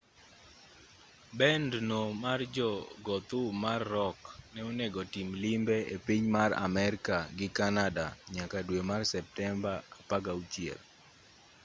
bend no mar jo go thum mar rock ne onego tim limbe e piny mar amerka gi canada nyaka dwe mar septemba 16